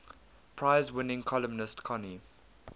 prize winning columnist connie